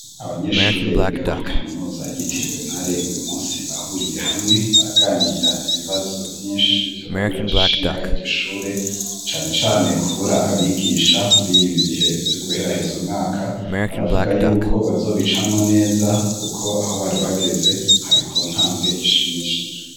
Abanyeshure biga kuri Kaminuza yitiriwe Ntare uyu munsi bahuriye hamwe baraganira ibibazo Vyinshi byo babiraje ishinga igishure cyane cane kubura abigisha muri ibi bihe byo guherahiza umwaka baravuga y'uko bazobicamwo neza kuko aho bari bageze hari ku ntambwe ishimishije.